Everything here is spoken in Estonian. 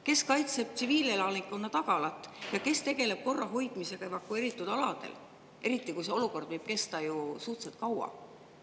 Kes kaitseb tsiviilelanikkonna tagalat ja kes tegeleb korra hoidmisega evakueeritud aladel, eriti kui see olukord võib kesta suhteliselt kaua?